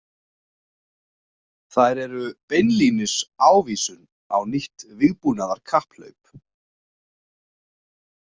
Þær eru beinlínis ávísun á nýtt vígbúnaðarkapphlaup.